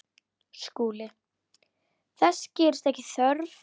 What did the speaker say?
SKÚLI: Þess gerist ekki þörf.